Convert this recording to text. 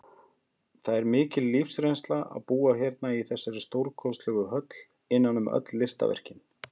Það er mikil lífsreynsla að búa hérna í þessari stórkostlegu höll, innan um öll listaverkin.